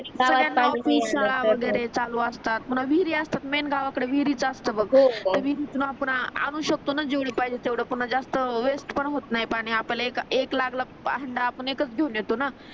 म्हणजे शाळा वगेरे चालू असतात पुन्हा विहिरी असतात मेन गावाकड विहीरीच असतात बघ हो तर विहिरीतून आपण आणू शकतो न जेवढ पाहिजे तेवढे जास्त वेस्ट पण होत नाही पाणी आपल्याला एक लागला हंडा आपण एकच घेऊन येतो न